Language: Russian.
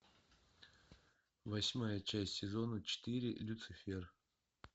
восьмая часть сезона четыре люцифер